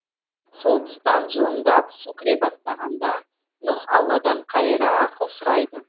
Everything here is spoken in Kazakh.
сол тұстан жылымдап су кіре бастағанда нұһ алладан қайыра ақыл сұрайды